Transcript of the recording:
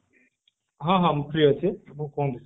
ହଁ ହଁ ମୁଁ free ଅଛି ଆପଣ କୁହନ୍ତୁ